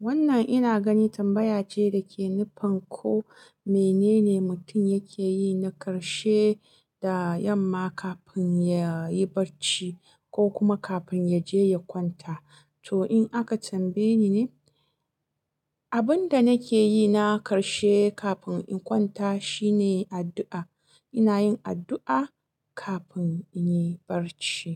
Wannan ina gani tambaya ce dake nufin ko menene mutum yake yi na karshe da yamma kafin ya yi barci ko kuma kafin ya je ya kwanta. To in aka tambaye ni ne, abin da nake yi na ƙarshe kafin in kwanta shine addu'a. Ina yin addu'a kafin in yi barci.